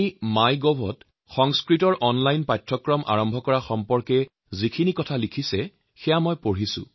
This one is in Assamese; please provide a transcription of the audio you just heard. মই সংস্কৃতৰ অনলাইন পাঠ্যক্ৰম আৰম্ভ কৰাৰ বিষয়ে mygovত কোমল ঠাক্কৰে যি লিখিছিল সেয়া পঢ়িছো